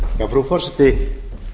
frú forseti